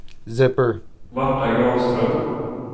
Marta Granström